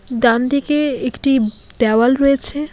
ডানদিকে একটি দেওয়াল রয়েছে।